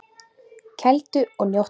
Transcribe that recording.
Kældu og njóttu!